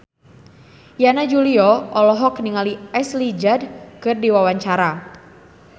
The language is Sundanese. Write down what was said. Yana Julio olohok ningali Ashley Judd keur diwawancara